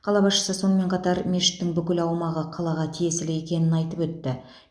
қала басшысы сонымен қатар мешіттің бүкіл аумағы қалаға тиесілі екенін айтып өтті